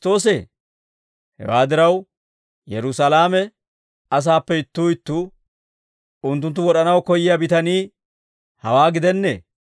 Hewaa diraw, Yerusaalame asaappe ittuu ittuu, «Unttunttu wod'anaw koyyiyaa bitanii hawaa gidennee?